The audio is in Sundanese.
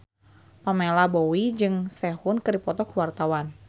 Pamela Bowie jeung Sehun keur dipoto ku wartawan